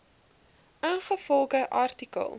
ingevolge artikel